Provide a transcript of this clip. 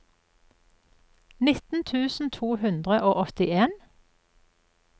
nitten tusen to hundre og åttien